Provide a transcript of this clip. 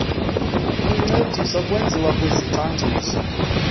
lincedisa kulwenziwo lwezicwangciso